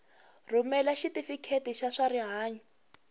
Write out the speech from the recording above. rhumela xitifiketi xa swa rihanyu